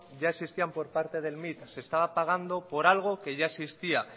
ya existían por parte del se estaba pagando por algo que ya existía